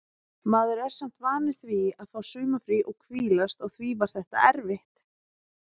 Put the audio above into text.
Maður er samt vanur því að fá sumarfrí og hvílast og því var þetta erfitt.